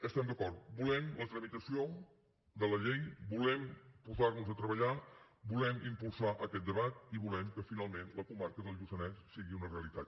estem d’acord volem la tramitació de la llei volem posar nos a treballar volem impulsar aquest debat i volem que finalment la comarca del lluçanès sigui una realitat